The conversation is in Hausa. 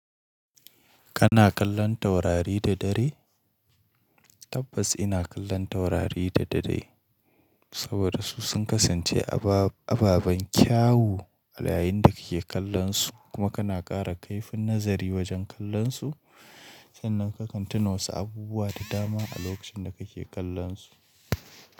Kana kallon taurari da dare? Tabbas ina kallon taurari da dare, saboda su sun kasance ababen kyawu a yayin da kike kallonsu kuma kana ƙara kaifin nazari wajen kallonsu sannan ka kan tuna wasu abubuwa da dama a lokacin da kake kallonsu.